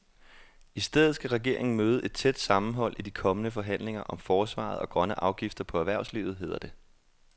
I stedet skal regeringen møde et tæt sammenhold i de kommende forhandlinger om forsvaret og grønne afgifter på erhvervslivet, hedder det.